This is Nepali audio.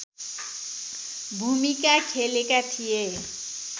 भूमिका खेलेका थिए